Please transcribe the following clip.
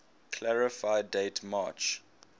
clarify date march